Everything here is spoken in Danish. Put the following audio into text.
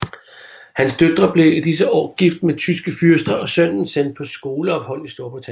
Hans døtre blev i disse år gift med tyske fyrster og sønnen sendt på skoleophold i Storbritannien